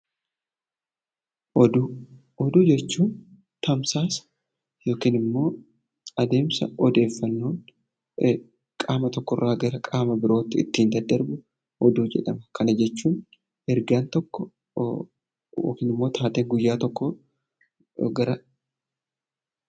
Oduu jechuun tamsaasa yookiin immoo adeemsa odeeffannoon qaama tokkorraa gara biraatti ittiin daddarbudha. Kana jechuun ergaan tokko yookiin immoo taatee tokko gara biraatti taasifamudha